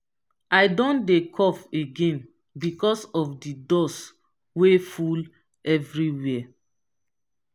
i don dey cough again because of di dust wey full everywhere.